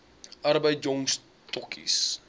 arbeid jong stokkies